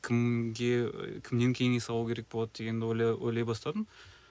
кімге кімнен кеңес алу керек болады дегенді ойлай ойлай бастадым